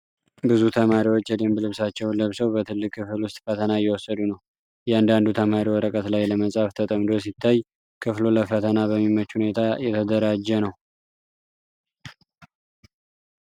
ብዙ ተማሪዎች የደንብ ልብሳቸውን ለብሰው በትልቅ ክፍል ውስጥ ፈተና እየወሰዱ ነው። እያንዳንዱ ተማሪ ወረቀት ላይ ለመፃፍ ተጠምዶ ሲታይ፣ ክፍሉ ለፈተና በሚመች ሁኔታ የተደራጀ ነው።